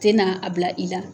Tɛna n'a a bila i la